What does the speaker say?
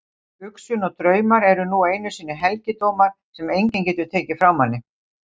Hugsun og draumar eru nú einu sinni helgidómar sem enginn getur tekið frá manni.